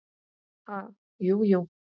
Ha, jú, jú